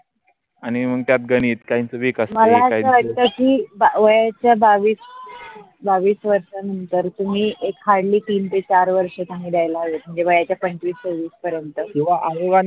आणि मग त्यात गणित काहींच विक असते मला अस वाट कि वयाच्या बावीस वर्षा नंतर तुम्ही एक hardly तीनते चार वर्षं त्यांना द्यायेला हवे म्हनजे वयाच्या पंचविस सवीस परेनत किवा आहे वान